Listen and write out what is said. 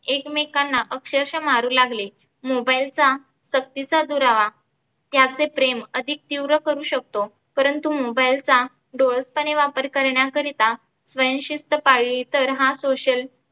एकमेकांना अक्षरषः मारु लागले mobile चा सकतीचा दुरावा त्याचे प्रेम अधीक तिव्र करू शकतो. परंतु mobile चा डोलसपणे वापर करण्या करीता स्वयंशिस्थ पाळली तर हा social